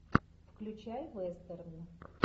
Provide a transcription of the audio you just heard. включай вестерн